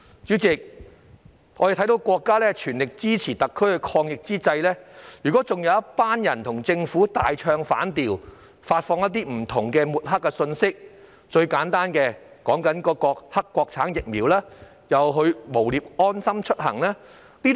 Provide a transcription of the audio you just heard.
主席，我們看到在國家全力支持特區抗疫之際，有一群人與政府大唱反調，發放各式各樣的抹黑信息，最簡單的例子是抹黑國產疫苗及誣衊"安心出行"。